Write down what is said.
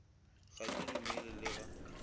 ga ke dumele le ga